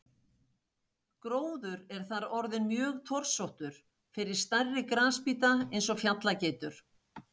Gróður er þar orðinn mjög torsóttur fyrir stærri grasbíta eins og fjallageitur.